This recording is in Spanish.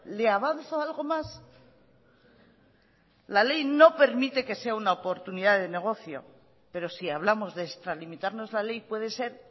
le avanzo algo más la ley no permite que sea una oportunidad de negocio pero si hablamos de extralimitarnos la ley puede ser